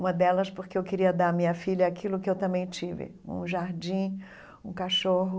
Uma delas porque eu queria dar à minha filha aquilo que eu também tive, um jardim, um cachorro.